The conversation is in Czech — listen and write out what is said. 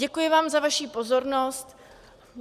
Děkuji vám za vaši pozornost.